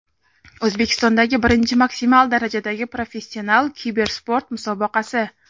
O‘zbekistondagi birinchi maksimal darajadagi professional kibersport jamoasi!.